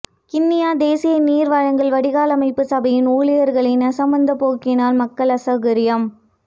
கிண்ணியா தேசிய நீர்வழங்கல் வடிகாலமைப்புச் சபையின் ஊழியர்களின் அசமந்தப்போக்கினால் மக்கள் அசௌகரியம்